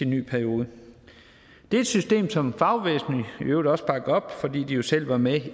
ny periode det er et system som fagbevægelsen i øvrigt også bakkede op fordi de jo selv var med